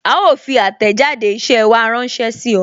A ó fi àtẹ̀jáde isẹ wa ránsẹ́ sí ọ